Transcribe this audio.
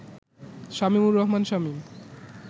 Shamimur Rahman Shamim